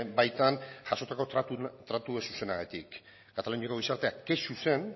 baitan jasotako tratu ez zuzenagatik kataluniako gizartea kexu zen